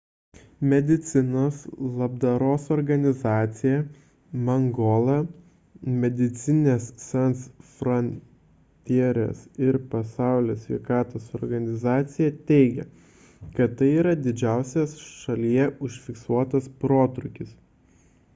medicinos labdaros organizacija mangola medecines sans frontieres ir pasaulio sveikatos organizacija teigia kad tai yra didžiausias šalyje užfiksuotas protrūkis